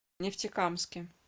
нефтекамске